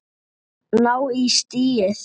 Ná í stigið.